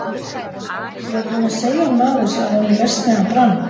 Ég var búinn að segja honum af þessu áður en verksmiðjan brann.